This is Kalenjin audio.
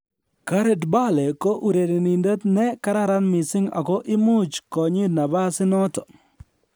"Gareth Bale ko urerenindet ne kararan mising ago imuch konyit nabas inoton